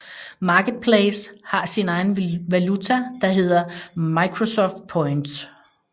Marketplace har sin egen valuta der hedder Microsoft Points